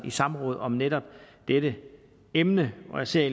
i samråd om netop dette emne og jeg ser